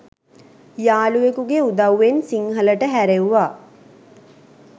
යාළුවෙකුගේ උදව්වෙන් සිංහලට හැරෙව්වා.